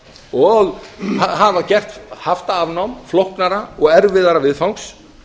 og hafa gert haftaafnám flóknara og erfiðara viðfangs